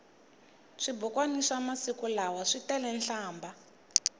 swibukwani swa masiku lawa switele nhlambha